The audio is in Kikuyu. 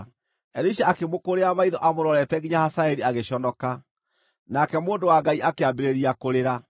Elisha akĩmũkũũrĩra maitho amũrorete nginya Hazaeli agĩconoka. Nake mũndũ wa Ngai akĩambĩrĩria kũrĩra.